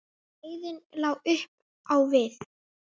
Leiðin lá upp á við.